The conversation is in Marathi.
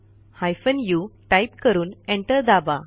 हायफेन उ टाईप करून एंटर दाबा